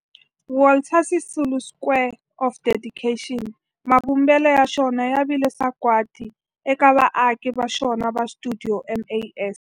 Walter Sisulu Square of Dedication, mavumbelo ya xona ya vile sagwadi eka vaaki va xona va stuidio MAS.